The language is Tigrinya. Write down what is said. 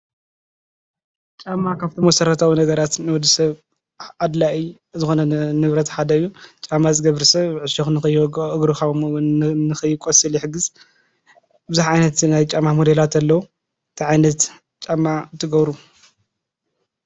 ጫማ ካብቶም መሰራታዊ ነገራት ንወዲሰብ ኣድላይ ዝኮነ ንብረት ሓደ እዩ። ጫማ ዝገብር ሰብ ዕሾክ ከይወግኦ ከምኡ እውን እግሩ ንከይቆስል ይሕግዝ። ብዙሕ ዓይነት ናይ ጫማ ሞዴላት ኣለው። እንታይ ዓይነት ጫማ ትገብሩ?